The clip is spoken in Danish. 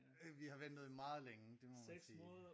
Vi har ventet i meget længe det må man sige